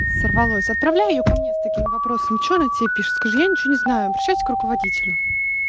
сорвалось отправляй её ко мне с такими вопросами что она тебе пишет скажи я ничего не знаю обращайтесь к руководителю